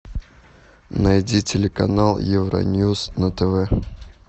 найди телеканал евроньюз на тв